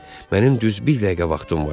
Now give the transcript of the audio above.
Mənim düz bir dəqiqə vaxtım var.